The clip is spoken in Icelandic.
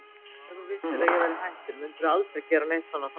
En ef þú vissir að ég væri hættur, mundi aldrei gera neitt svona framar?